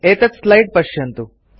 एतत् स्लाइड् पश्यन्तु